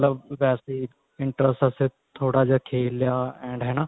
ਲਬ ਵੇਸੇ interest ਵਾਸਤੇ ਥੋੜਾ ਜਾ ਖੇਲ ਲਿਆ ਹਨਾ